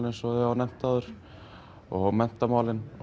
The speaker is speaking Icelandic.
eins og var nefnt áður og menntamálin